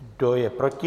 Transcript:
Kdo je proti?